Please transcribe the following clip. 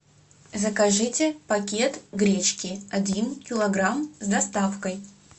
закажите пакет гречки один килограмм с доставкой